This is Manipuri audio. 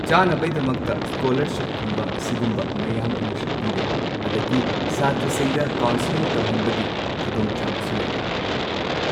ꯆꯥꯅꯕꯩꯗꯃꯛꯇ ꯁ꯭ꯀꯣꯂꯥꯔꯁꯤꯞꯀꯨꯝꯕ ꯁꯤꯒꯨꯝꯕ ꯃꯌꯥꯝ ꯑꯃꯁꯨ ꯄꯤꯔꯦ ꯑꯗꯒꯤ ꯁꯥꯇ꯭ꯔꯁꯤꯡꯗ ꯀꯥꯎꯟꯁꯦꯜꯂꯤꯡ ꯇꯧꯍꯟꯕꯒꯤ ꯈꯨꯗꯣꯡꯆꯥꯕꯁꯨ ꯂꯩꯔꯦ꯫